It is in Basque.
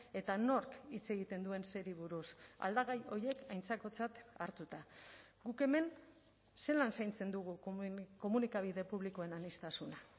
eta nork hitz egiten duen zeri buruz aldagai horiek aintzakotzat hartuta guk hemen zelan zaintzen dugu komunikabide publikoen aniztasuna